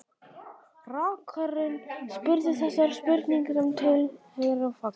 Rakarinn spurði þessara spurninga sem tilheyra faginu